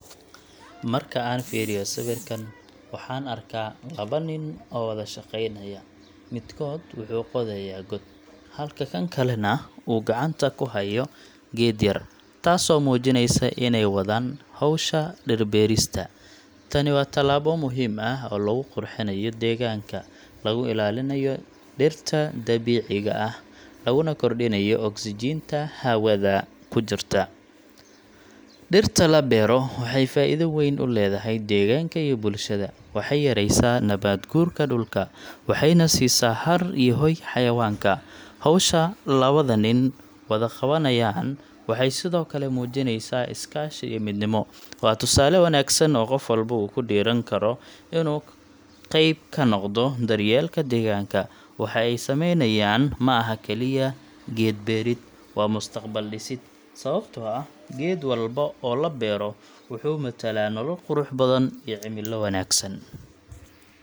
Marka aan fiiriyo sawirkan, waxaan arkaa laba nin oo wada shaqaynaya. Midkood wuxuu qodayaa god, halka kan kalena uu gacanta ku hayo geed yar, taasoo muujinaysa inay wadaan hawsha dhir-beerista. Tani waa tallaabo muhiim ah oo lagu qurxinayo deegaanka, lagu ilaalinayo dhirta dabiiciga ah, laguna kordhinayo oksijiinta hawada ku jirta. Dhirta la beero waxay faa'iido weyn u leedahay deegaanka iyo bulshada. Waxay yareysaa nabaad-guurka dhulka, waxayna siisaa hadh iyo hoy xayawaanka. Hawsha labada nin wada qabanayaan waxay sidoo kale muujinaysaa iskaashi iyo midnimo. Waa tusaale wanaagsan oo qof walba uu ku dhiirran karo inuu qayb ka noqdo daryeelka deegaanka. Waxa ay sameynayaan ma aha kaliya geed beerid, waa mustaqbal dhisid, sababtoo ah geed walba oo la beero wuxuu matalaa nolol, qurux, iyo cimilo wanaagsan.